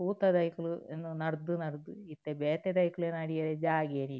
ಪೂತ ದೈಕುಲು ನಡ್ದ್ ನಡ್ದ್ ಇತ್ತೆ ಬೇತೆ ದೈಕ್ಲೆಗ್ ನಡಿಯೆರೆ ಜಾಗೆನೆ ಇಜ್ಜಿ.